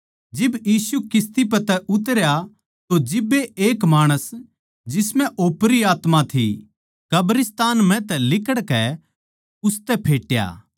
जिब यीशु किस्ती पै तै उतरया तो जिब्बे एक माणस जिसम्ह ओपरी आत्मा थी कब्रिस्तान म्ह तै लिकड़कै उसतै फेटया